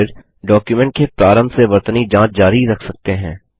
आप फिर डॉक्युमेंट के प्रारंभ से वर्तनी जाँच जारी रख सकते हैं